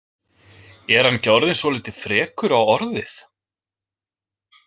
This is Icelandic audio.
Er hann ekki orðinn svolítið frekur á orðið?